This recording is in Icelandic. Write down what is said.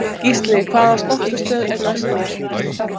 Gísli, hvaða stoppistöð er næst mér?